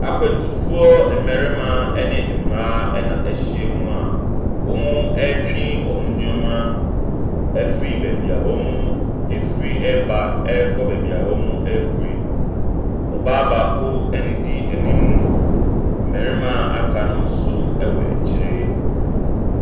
Akwantufoɔ mmarima ne mmaa na wɔahyia mu a wɔretwe nneɛma afiri baabi wɔn efiri reba ɛrekɔ baabi a wɔrekɔ yi. Ɔbaa baako na edi anim, mmarima a aka nso wɔ akyire.